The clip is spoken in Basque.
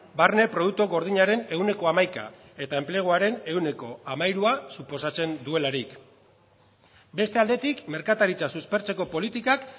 barne produktu gordinaren ehuneko hamaika eta enpleguaren ehuneko hamairua suposatzen duelarik beste aldetik merkataritza suspertzeko politikak